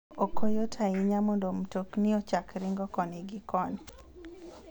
Ok yot ahinya mondo mtokni ochak ringo koni gi koni.